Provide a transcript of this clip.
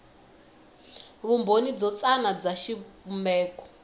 vumbhoni byo tsana bya xivumbeko